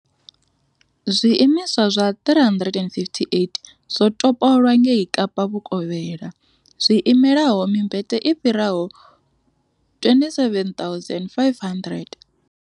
zwiimiswa zwa 358 zwo topolwa ngei Kapa Vhukovhela, zwi imelaho mimbete i fhiraho 27 500.